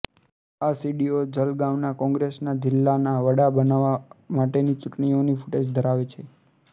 આ સીડીઓ જલગાવના કોંગ્રેસના જિલ્લના વડા બનવા માટેની ચૂંટણીઓની ફૂટેજ ધરાવે છે